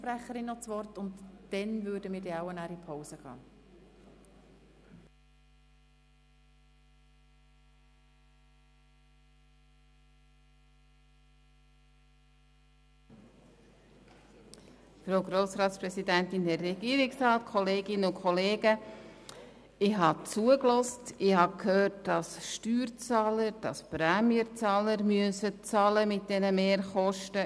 Entschuldigt abwesend sind: Aeschlimann Martin, Berger Stefan, BeutlerHohenberger Melanie, Blank Andreas, Blum Christine, Boss Martin, Gerber Christine, Graf-Rudolf Madeleine, Hofer Stefan, Iseli Jürg, Jordi Stefan, Kropf Blaise, Mentha Luc, Müller Reto, Rösti Hans, Stampfli David, Teuscher-Abts Marianne, Trüssel Daniel, von Kaenel Dave.